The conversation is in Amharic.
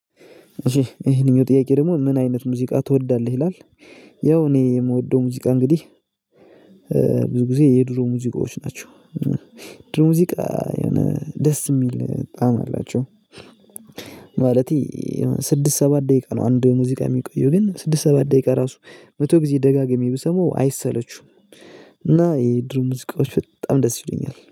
ይሄንኛው ጥያቄ ደግሞ ምን አይነት ሙዚቃ ትወዳለህ ይላል? ያው እኔ የምወደው ሙዚቃ እንግዲህ ብዙ ጊዜ የድሮ ሙዚቃዎች ናቸው። ድሮ ሙዚቃ የሆነ ደስ ሚል ጣም አላቸው። ማለቴ። ስድስት ሰባት ደቂቃ ነው አንድ ሙዚቃ ሚቆየው ግን ስድስት ሰባት ደቂቃ ራሱ መቶ ጊዜ ደጋግሜ ብሰማው አይሰለቹውም። እና የድሮ ሙዚቃዎች በጣም ደስ ይሉኛል